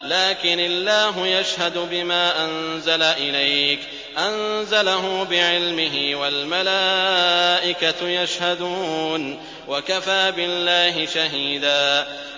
لَّٰكِنِ اللَّهُ يَشْهَدُ بِمَا أَنزَلَ إِلَيْكَ ۖ أَنزَلَهُ بِعِلْمِهِ ۖ وَالْمَلَائِكَةُ يَشْهَدُونَ ۚ وَكَفَىٰ بِاللَّهِ شَهِيدًا